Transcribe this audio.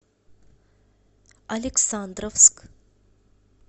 александровск